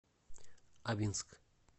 абинск